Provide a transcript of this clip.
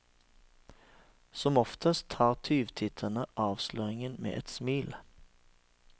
Som oftest tar tyvtitterne avsløringen med et smil.